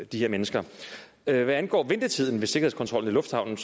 de her mennesker hvad angår ventetiden ved sikkerhedskontrollen i lufthavnen